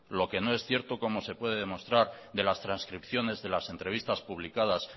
lo que no es cierto como se puede demostrar de las transcripciones de las entrevistas publicadas